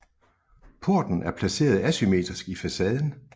Porten er placeret asymmetrisk i facaden